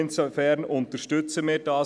Insofern unterstützen wir es.